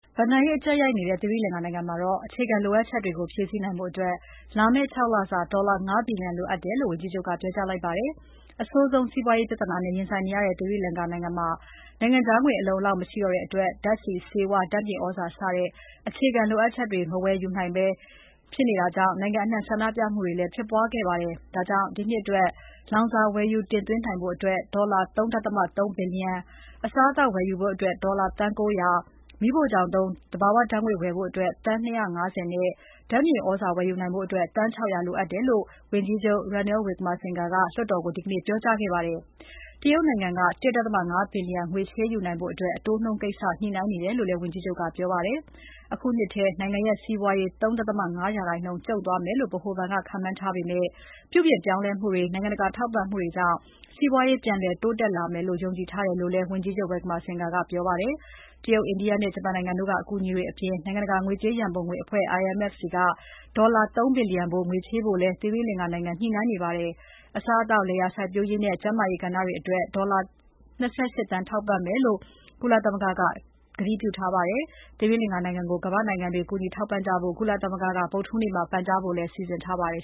ဘဏ္ဍာရေးအကြပ်ရိုက်နေတဲ့ သီရိလင်္ကာနိုင်ငံမှာ အခြေခံလိုအပ်ချက်တွေကို ဖြည့်ဆည်းနိုင်ဖို့ လာမယ့် ၆ လစာ ဒေါ်လာ ၅ ဘီလျံလိုအပ်တယ်လို့ ဝန်ကြီးချုပ်က ပြောကြားလိုက်ပါတယ်။ အဆိုးဆုံးစီးပွားရေးပြဿနာနဲ့ ရင်ဆိုင်နေရတဲ့ သီရိလင်္ကာမှာ နိုင်ငံခြားငွေအလုံအလောက်မရှိတော့တဲ့အတွက် ဓါတ်ဆီ၊ ဆေးဝါး၊ ဓါတ်မြေသြဇာ စတဲ့အခြေခံလိုအပ် ချက်တွေကို မဝယ်ယူနိုင်တာကြောင့် နိုင်ငံအနှံ့ ဆန္ဒပြမှုတွေ ဖြစ်ပေါ်ခဲ့ပါတယ်။ ဒါကြောင့် ဒီနှစ်အတွက် လောင်စာဝယ်ယူတင်သွင်းဖို့ ဒေါ်လာ ၃.၃ ဘီလျံ၊ အစားအသောက်ဝယ်ယူဖို့ ဒေါ်လာသန်း ၉၀၀၊ မီးဖိုချောင်သုံး သဘာဝဓါတ်ငွေ့ဝယ်ဖို့ သန်း ၂၅၀ နဲ့ ဓါတ်မြေသြဇာဝယ်ယူဖို့ သန်း ၆၀၀ လိုအပ်တယ်လို့ ဝန်ကြီးချုပ် Ranil Wickremesinghe က လွှတ်တော်ကို ဒီကနေ့ ပြောကြားခဲ့ပါတယ်။ တရုတ်နိုင်ငံက ၁.၅ ဘီလျံ ငွေချေးယူနိုင်ဖို့ အတိုးနှုန်းကိစ္စ ညှိနှိုင်းနေတယ်လို့လည်း ဝန်ကြီးချုပ်က ပြောပါတယ်။ အခုနှစ်ထဲ နိုင်ငံရဲ့ စီးပွားရေး ၃.၅% ကျုံ့သွားမယ်လို့ ဗဟိုဘဏ်က ခန်းမှန်းထားပေမယ့် ပြုပြင်ပြောင်းလဲမှုတွေနဲ့ နိုင်ငံတကာထောက်ပံ့မှုတွေကြောင့် စီးပွားရေး ပြန်လည်တိုးတက်လာမယ်လို့ ယုံကြည်ထားတယ်လို့လည်း ဝန်ကြီးချုပ် Wickremesinghe ကပြောပါတယ်။ တရုတ်၊ အိန္ဒိယနဲ့ ဂျပန်နိုင်ငံတို့က အကူအညီတွေအပြင် နိုင်ငံတကာ ငွေကြေးရန်ပုံငွေအဖွဲ့ IMF ဆီက ဒေါ်လာ ၃ ဘီလျံဖိုး ငွေချေးဖို့လည်း သီရိလင်္ကာနိုင်ငံက ညှိနှိုင်းနေပါတယ်။ အစားအသောက်၊ လယ်ယာစိုက်ပျိုးရေးနဲ့ ကျန်းမာရေးကဏ္ဍတွေအတွက် ကုလသမဂ္ဂက ဒေါ်လာ ၂၈ သန်းထောက်ပံ့မယ်လို့ ကတိပြုထားပါတယ်။ သီရိလင်္ကာနိုင်ငံကို ကမ္ဘာ့နိုင်ငံတွေ ကူညီထောက်ပံ့ကြဖို့ ကုလသမဂ္ဂက ဗုဒ္ဓဟူးနေ့မှာ ပန်ကြားဖို့လည်း စီစဉ်ထားပါတယ်